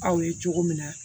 Aw ye cogo min na